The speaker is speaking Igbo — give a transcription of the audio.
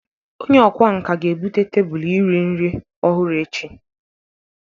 Onye ọkwá nkà ga-ebute tebụl iri nri ọhụrụ echi.